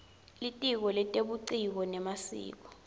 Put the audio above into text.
litiko letebuciko nemasiko